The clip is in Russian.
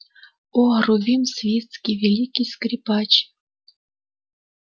о рувим свицкий великий скрипач